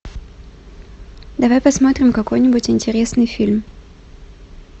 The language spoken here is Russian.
давай посмотрим какой нибудь интересный фильм